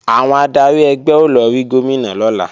Àwọn adarí ẹgbẹ́ ó lọ rí Gómìnà lọ́la